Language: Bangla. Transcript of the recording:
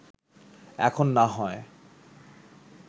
এখন না হয়